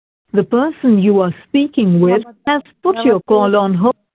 The person you are speaking with has put your call on hold